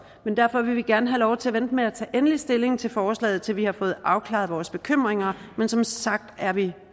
men derfor vil vi gerne have lov til at vente med at tage endelig stilling til forslaget til vi har fået afklaret vores bekymringer men som sagt er vi